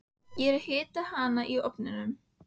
Ég er að hita hana í ofninum.